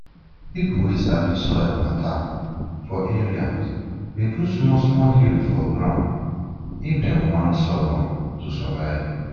people wey sabi soil matter for area dey do small small hill for ground if den want sorghum to survive